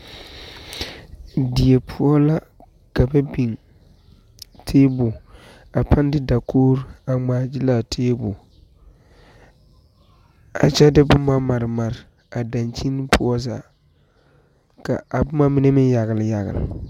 Die poɔ la ka ba biŋ tabol, a paaŋ de dakori a ŋmaa gyile a tabol a kyɛ de boma mare mare a dankyine poɔ zaa, ka a boma mine meŋ yagele yagele.